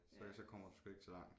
Så så kommer du sgu ikke så langt